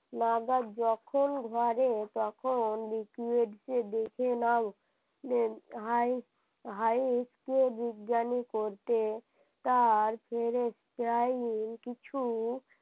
যখন ঘরে যখন ডেকে নেয় ভাই একটুও বিজ্ঞানী পড়তে তার যাইনি কিছু